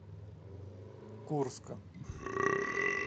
курска